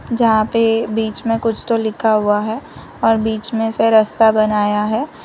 जहां पे बीच में कुछ तो लिखा हुआ है और बीच में से रस्ता बनाया है।